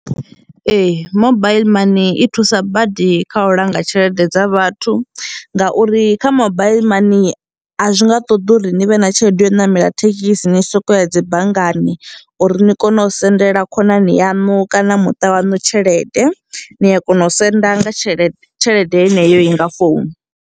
Ee, mobile money i thusa badi kha u langa tshelede dza vhathu ngauri kha mobile money a zwi nga ṱoḓi uri ni vhe na tshelede ya u ṋamela thekhisi ni sokou ya dzi banngani uri ni kone u sendela khonani yaṋu kana muṱa waṋu tshelede, ni a kona u senda nga tshelede tshelede yeneyo nga founu.